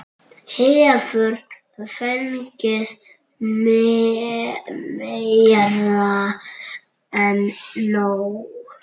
Hefur fengið meira en nóg.